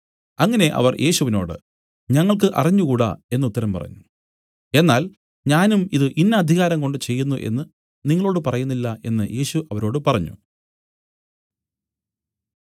അങ്ങനെ അവർ യേശുവിനോടു ഞങ്ങൾക്കു അറിഞ്ഞുകൂടാ എന്നു ഉത്തരം പറഞ്ഞു എന്നാൽ ഞാനും ഇതു ഇന്ന അധികാരംകൊണ്ട് ചെയ്യുന്നു എന്നു നിങ്ങളോടു പറയുന്നില്ല എന്നു യേശു അവരോട് പറഞ്ഞു